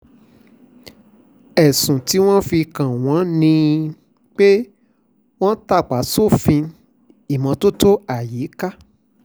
ẹ̀sùn tí wọ́n fi kàn wọ́n ni pé wọ́n tàpá sófin ìmọ́tótó ayíká